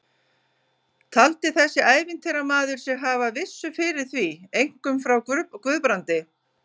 Taldi þessi ævintýramaður sig hafa vissu fyrir því, einkum frá Guðbrandi